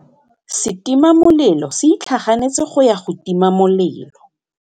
Setima molelô se itlhaganêtse go ya go tima molelô.